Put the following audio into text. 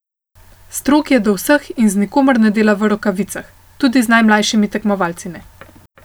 Strog je do vseh in z nikomer ne dela v rokavicah, tudi z najmlajšimi tekmovalci ne.